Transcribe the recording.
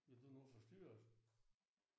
Vil du nu forstyrre os?